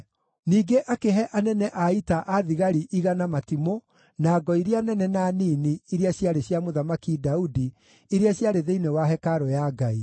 Ningĩ akĩhe anene a ita a thigari 100 matimũ na ngo iria nene na nini iria ciarĩ cia Mũthamaki Daudi iria ciarĩ thĩinĩ wa hekarũ ya Ngai.